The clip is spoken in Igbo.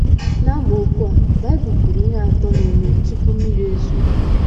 N’amaokwu a, Baịbụl kwuru ihe atọ na - eme tupu mmiri ezoo.